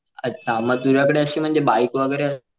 अच्छा म तुझ्या कडे अशी म्हणजे बाईक वैगेरे,